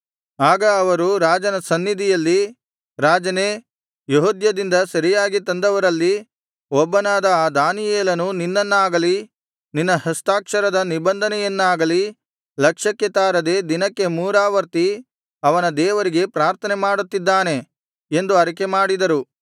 ಆಗ ಅವರು ರಾಜನ ಸನ್ನಿಧಿಯಲ್ಲಿ ರಾಜನೇ ಯೆಹೂದದಿಂದ ಸೆರೆಯಾಗಿ ತಂದವರಲ್ಲಿ ಒಬ್ಬನಾದ ಆ ದಾನಿಯೇಲನು ನಿನ್ನನ್ನಾಗಲಿ ನಿನ್ನ ಹಸ್ತಾಕ್ಷರದ ನಿಬಂಧನೆಯನ್ನಾಗಲಿ ಲಕ್ಷ್ಯಕ್ಕೆ ತಾರದೆ ದಿನಕ್ಕೆ ಮೂರಾವರ್ತಿ ಅವನ ದೇವರಿಗೆ ಪ್ರಾರ್ಥನೆ ಮಾಡುತ್ತಿದ್ದಾನೆ ಎಂದು ಅರಿಕೆ ಮಾಡಿದರು